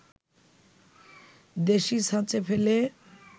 দেশী ছাঁচে ফেলে